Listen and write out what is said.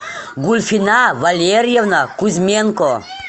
гульфина валерьевна кузьменко